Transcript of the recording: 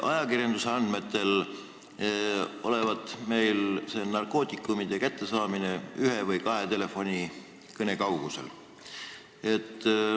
Ajakirjanduse andmetel olevat meil narkootikumid ühe või kahe telefonikõne kaugusel.